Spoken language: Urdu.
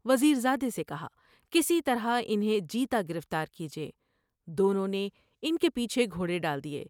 وزیر زادے سے کہا '' کسی طرح انھیں جیتا گرفتار کیجے '' دونوں نے ان کے پیچھے گھوڑے ڈال دیے ۔